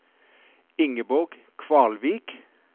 Ingeborg Kvalvik